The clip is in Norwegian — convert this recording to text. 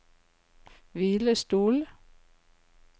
hvilestol